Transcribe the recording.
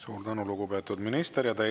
Suur tänu, lugupeetud minister!